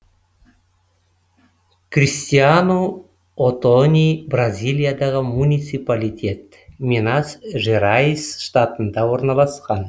кристиану отони бразилиядағы муниципалитет минас жерайс штатында орналасқан